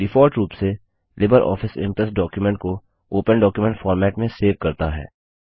default रूप से libre office impress document को ओपन डॉक्युमेंट फॉर्मेट में सेव करता है